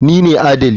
Ni ne adali.